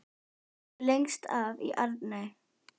Þau bjuggu lengst af í Arney.